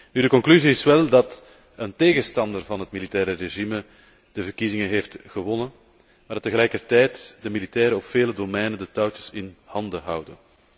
Nu, de conclusie is wel dat een tegenstander van het militaire regime de verkiezingen heeft gewonnen, maar dat tegelijkertijd de militairen op vele terreinen de touwtjes in handen houden.